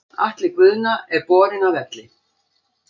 Atli Guðna er borinn af velli.